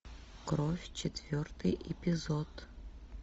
кровь четвертый эпизод